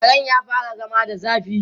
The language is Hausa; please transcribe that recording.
Karen ya fara zama da zafi.